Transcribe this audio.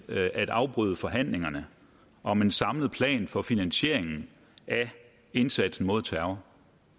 at afbryde forhandlingerne om en samlet plan for finansieringen af indsatsen mod terror